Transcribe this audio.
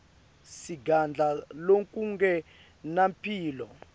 singadla lokungenampilo